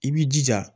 I b'i jija